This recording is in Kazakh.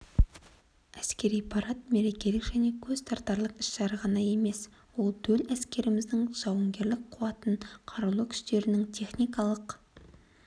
әскери парад мерекелік және көзтартарлық іс-шара ғана емес ол төл әскеріміздің жауынгерлік қуатын қарулы күштердің техникалық